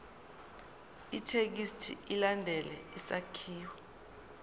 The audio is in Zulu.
ithekisthi ilandele isakhiwo